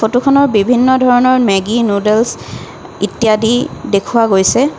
ফটোখনৰ বিভিন্ন ধৰণৰ মেগী নূডলছ্ ইত্যাদি দেখুওৱা গৈছে।